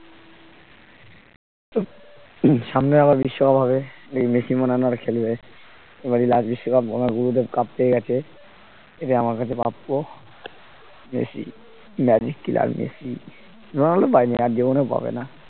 সামনে আবার বিশ্বকাপ হবে এই মেসি মনে হয় না আর খেলবে, এবারই লাস্ট বিশ্বকাপ আমার গুরুদেব cup পেয়ে গেছে এটাই আমার কাছে প্রাপ্য Messi magic killer Messi, Ronaldo পাইনি আর জীবনেও পাবেনা